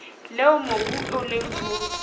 leo mobu o leng ho